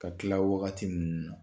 Ka tila wagati ninnu na